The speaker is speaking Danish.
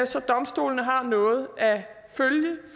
så domstolene har noget at følge